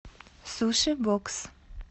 суши бокс